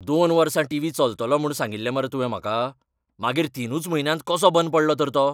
दोन वर्सां टीव्ही चलतलो म्हूण सांगिल्लें मरे तुवें म्हाका? मागीर तिनूच म्हयन्यांत कसो बंद पडलो तर तो?